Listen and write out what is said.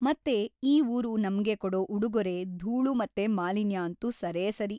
ಮತ್ತೆ ಈ ಊರು ನಮ್ಗೆ ಕೊಡೊ ಉಡುಗೊರೆ ಧೂಳು ಮತ್ತೆ ಮಾಲಿನ್ಯ ಅಂತೂ ಸರೇಸರಿ.